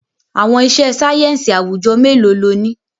Àwọn iṣẹ́ sáyẹ́ǹsì àwùjọ mélòó lo ní?